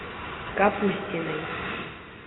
капустиной